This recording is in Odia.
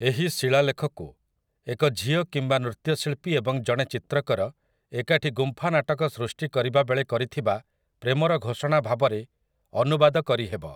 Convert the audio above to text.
ଏହି ଶିଳାଲେଖକୁ, ଏକ ଝିଅ କିମ୍ବା ନୃତ୍ୟଶିଳ୍ପୀ ଏବଂ ଜଣେ ଚିତ୍ରକର ଏକାଠି ଗୁମ୍ଫା ନାଟକ ସୃଷ୍ଟି କରିବାବେଳେ କରିଥିବା ପ୍ରେମର ଘୋଷଣା ଭାବରେ ଅନୁବାଦ କରିହେବ ।